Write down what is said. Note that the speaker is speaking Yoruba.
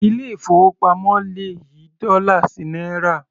Ilé ìfowópamọ́ le yí dọ́là sí náírà.